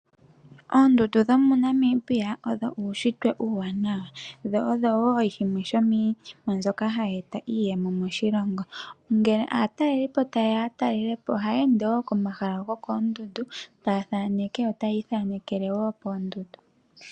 Oondundu dho moNamibia odho uunshitwe uuwanawa, dho odho wo shimwe sho miinima mbyoka hayi eta iiyemo moshilongo ngele aatalelipo taye ya talele po ohaya ende wo komahala gokoondundu taya thaaneke yo taya ithanekele wo poondundu.